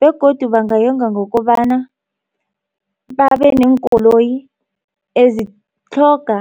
begodu bangayonga ngokobana babe neenkoloyi ezitlhoga